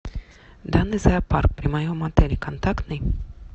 данный зоопарк при моем отеле контактный